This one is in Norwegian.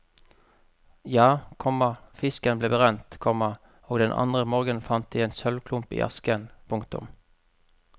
Ja, komma fisken ble brent, komma og den andre morgenen fant de en sølvklump i asken. punktum